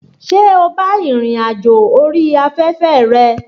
Ṣé o bá ìrìn àjò orí afẹ́fẹ́ rẹ?